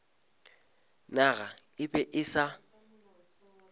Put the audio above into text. naga e be e sa